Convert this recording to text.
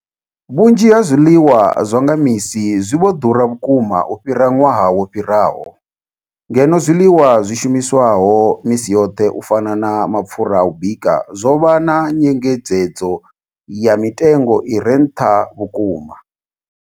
Vhunzhi ha zwiḽiwa zwa nga misi zwi vho ḓura vhukuma u fhira ṅwaha wo fhiraho, ngeno zwiḽiwa zwi shumiswaho misi yoṱhe u fana na mapfhura a u bika zwo vha na nyengedzedzo ya mitengo i re nṱha vhukuma.